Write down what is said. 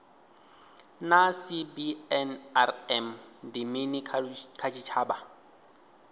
naa cbnrm ndi mini kha tshitshavha